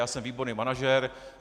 Já jsem výborný manažer.